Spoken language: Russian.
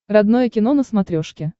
родное кино на смотрешке